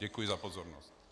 Děkuji za pozornost.